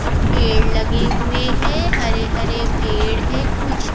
कुछ पेड़ लगे हुए है हरे हरे पेड़ है कुछ--